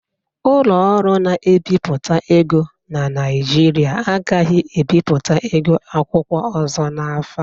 Ụlọ ọrụ na-ebipụta ego na Naijiria agaghi ebiputa ego akwụkwọ ọzọ n'afọ a.